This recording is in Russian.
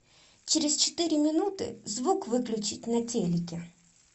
через четыре минуты звук выключить на телике